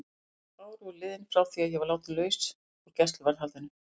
Þrjú ár voru liðin frá því að ég var látin laus úr gæsluvarðhaldinu.